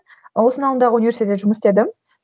осының алдындағы университетте жұмыс істедім